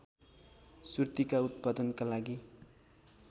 सुर्तीका उत्पादनका लागि